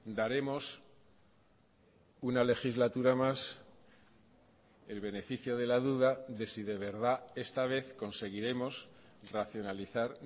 daremos una legislatura más el beneficio de la duda de si de verdad esta vez conseguiremos racionalizar